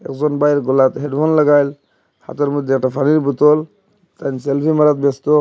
ভাইয়ের গলাতে হেডফোন লাগাইল হাতের মধ্যে একটা পানির বোতল সেলফি মারাদ ব্যস্ত।